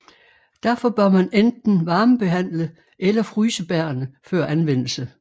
Derfor bør man enten varmebehandle eller fryse bærrene før anvendelse